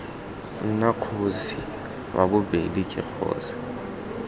nna kgosi ii ke kgosi